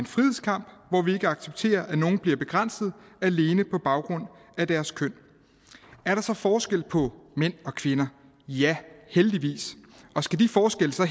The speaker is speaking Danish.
frihedskamp hvor vi ikke accepterer at nogle bliver begrænset alene på baggrund af deres køn er der så forskel på mænd og kvinder ja heldigvis skal de forskelle